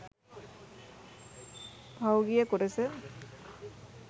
පහුගිය කොටස